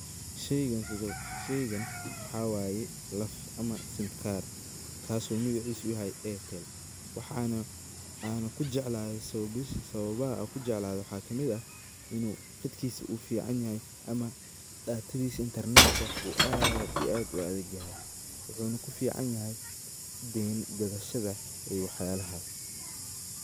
Sheygaan sidu , sheygaan waxa waye laf ama sim kaar. Kaso magacisu u yahay Airtel waxana aana kujecladay sababaha anku jecladay waxa ka mid ah inu qatkisu u fcnyahay ama datadisa intarnetka uu aad iyo aad u adagyahay wuxuna kufcnyahay deyn gadashada iyo wax yalahas.